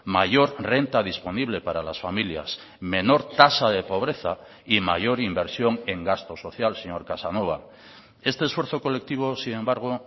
mayor renta disponible para las familias menor tasa de pobreza y mayor inversión en gasto social señor casanova este esfuerzo colectivo sin embargo